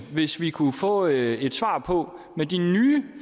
hvis vi kunne få et svar på hvor meget med de nye